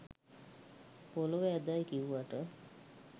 පොළව ඇදයි කිව්වට